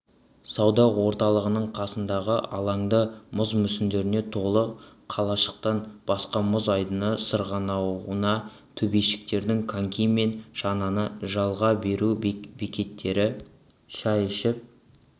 сауда орталығының қасындағы алаңда мұз мүсіндеріне толы қалашықтан басқа мұз айдыны сырғанау төбешіктері коньки мен шананы жалға беру бекеттері шай ішіп